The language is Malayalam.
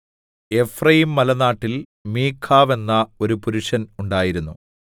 എഫ്രയീംമലനാട്ടിൽ മീഖാവ് എന്ന ഒരു പുരുഷൻ ഉണ്ടായിരുന്നു